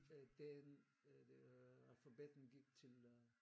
Den alfabetet gik til øh